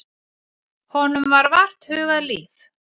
Honum var vart hugað líf.